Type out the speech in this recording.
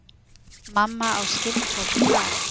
Mamma á skyldfólk þar.